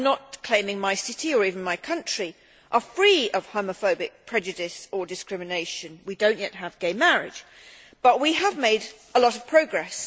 I am not claiming that my city, or even my country, is free of homophobic prejudice or discrimination we do not yet have gay marriage but we have made a lot of progress.